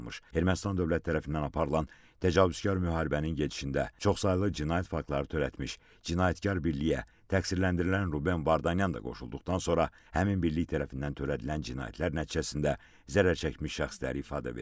Ermənistan dövləti tərəfindən aparılan təcavüzkar müharibənin gedişində çoxsaylı cinayət faktları törətmiş cinayətkar birliyə təqsirləndirilən Ruben Vardanyan da qoşulduqdan sonra həmin birlik tərəfindən törədilən cinayətlər nəticəsində zərər çəkmiş şəxslər ifadə verir.